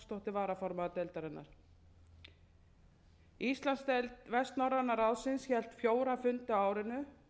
varaformaður deildarinnar íslandsdeild vestnorræna ráðsins hélt fjóra fundi á árinu bar hæst